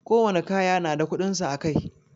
Ko wani kaya na da kudinsa a Kai.